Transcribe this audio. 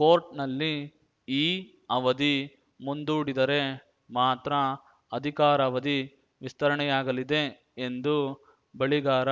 ಕೋರ್ಟ್‌ನಲ್ಲಿ ಈ ಅವಧಿ ಮುಂದೂಡಿದರೆ ಮಾತ್ರ ಅಧಿಕಾರಾವಧಿ ವಿಸ್ತರಣೆಯಾಗಲಿದೆ ಎಂದು ಬಳಿಗಾರ